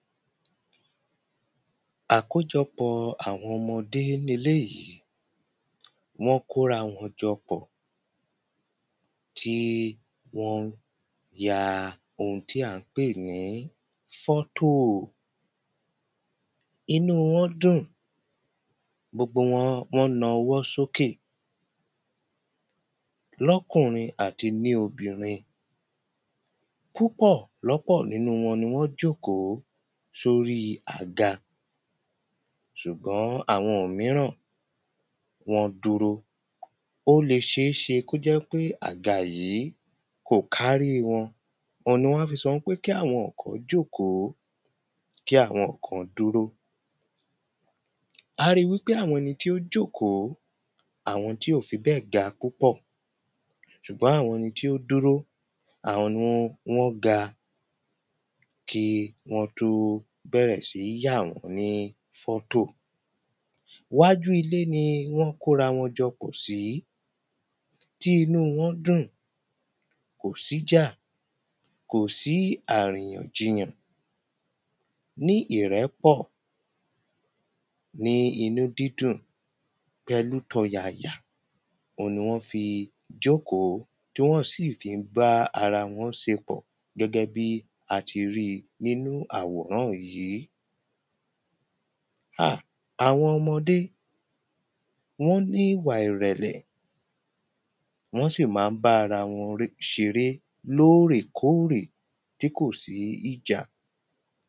Àkójọpọ̀ àwọn ọmọdé leléèyìí wọ́n kó ra wọn jọ pọ̀ tí wọ́n ń ya ohun tí à ń pè ní fọ́tò. Inú wọn dùn gobogbo wọn wọ́n ń na ọwọ́ sókè lọ́kùnrin àti ní obìnrin. Púpọ̀ lọ́pọ̀ wọn ni wọ́n jókòó sórí àga ṣùgbọ́n àwọn míràn wọ́n dúró. Ó le ṣé ṣe kó jẹ́ pé àga yìí kò kárí wọn oun ni wọ́n wá fi sọ wípé kí àwọn kan jókòó kí àwọn kan dúró. A rí wípé àwọn ẹni tí wọ́n jókòó àwọn tí ò fi bẹ́ẹ̀ ga púpọ̀ ṣùgbọ́n àwọn ẹni tí ó dúró àwọn ni wọ́n ga kí wọ́n tó bẹ̀rẹ̀ sí ní yà wọ́n ní fọ́tò. Wájú ilé ni wọ́n kóra wọn jọkpọ̀ sí tí inú wọn dùn kòsí jà kòsí àriyàn jiyàn. Ní ìrẹ̀pọ̀ ní inú dídùn pẹ̀lú tọ̀yàyà oun ni wọ́n fi jókòó tí wọ́n sì fí ń bá ara wọn se pọ̀ gẹ́gẹ́ bí a ti rí nínú àwòrán yìí. À àwọn ọmọdé wọ́n ní ìwà ìrẹ̀lẹ̀ wọ́n sì má ń bá ara wọn ṣeré lórèkórè tí kò sí ìjà.